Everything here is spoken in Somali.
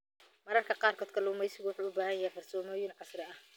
Mararka qaarkood, kalluumaysigu wuxuu u baahan yahay farsamooyin casri ah.